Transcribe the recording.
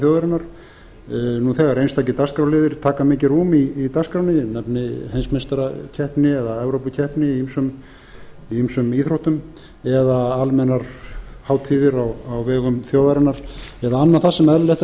þjóðarinnar þegar einstakir dagskrárliðir taka mikið rúm í dagskránni ég nefni heimsmeistarakeppni eða evrópukeppni í ýmsum íþróttum eða almennar hátíðir á vegum þjóðarinnar eða annað það sem eðlilegt er að menn spyrji